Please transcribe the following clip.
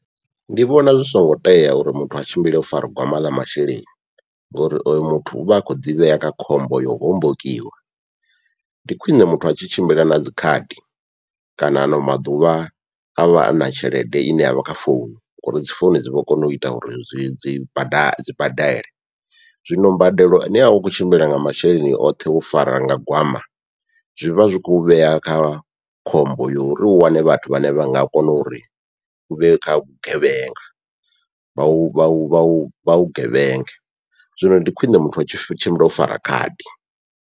Ndi vhona zwi songo tea uri muthu a tshimbile o fara gwama ḽa masheleni, ngori oyo muthu uvha a kho ḓivhea kha khombo yo u hombokiwa, ndi khwiṋe muthu a tshi tshimbila na dzikhadi kana ano maḓuvha avha ana tshelede ine yavha kha founu ngauri dzi founu dzi vho kona uita uri dzi dzi bada dzi badele. Zwino mbadelo ine yavha u khou tshimbila nga masheleni oṱhe wo fara nga gwama, zwivha zwi khou vhea kha khombo yo uri u wane vhathu vhane vha nga kona uri uvhe kha vhugevhenga, vha u vhu vhu vhugevhenga zwino ndi khwiṋe muthu a tshimbile o fara khadi.